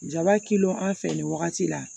Jaba kelen an fɛ nin wagati la